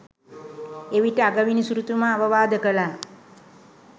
එවිට අගවිනිසුරුතුමා අවවාද කළා